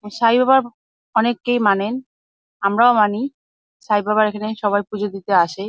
আ সাইবাবা অনেককেই মানেন। আমরাও মানি। সাইবাবার এখানে সবাই পূজো দিতে আসে ।